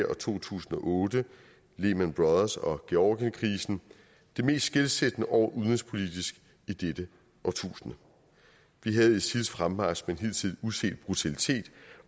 og to tusind og otte lehman brothers og georgienkrisen det mest skelsættende år udenrigspolitisk i dette årtusinde vi havde isils fremmarch med en hidtil uset brutalitet